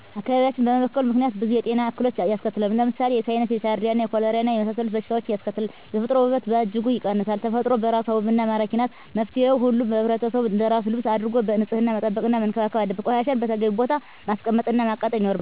አካባቢያችን በመበከሉ ምክንያት ብዙ የጤና እክሎችን ያስከትላል። ለምሳሌ፦ የሳይነስ፣ የጃረዲያ፣ የኮሌራና የመሣሠሉት በሽታዎችን ያስከትላል። የተፈጥሮ ውበትን በእጅጉ ይቀንሳል። ተፈጥሮ በራሷ ውብና መራኪ ናት። መፍትሔው ሁሉም ሕብረተሰብ አንደራሱ ልብስ አድርጎ ንፅህና መጠበቅና መንከባከብ አለበት። ቆሻሻን በተገቢው ቦታ ማስቀመጥ እና ማቃጠል ይኖርብናል።